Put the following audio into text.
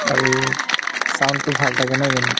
আৰু sound তো ভাল থাকে নহয় জানো